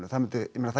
það